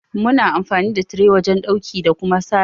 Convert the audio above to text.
Muna amfani da tire wajen dauki da Kuma serbin.